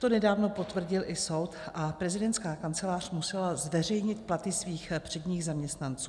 To nedávno potvrdil i soud a prezidentská kancelář musela zveřejnit platy svých předních zaměstnanců.